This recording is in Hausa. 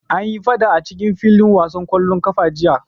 Anyi faɗa a filin wasan ƙwallon ƙafa jiya.